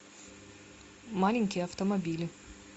маленькие автомобили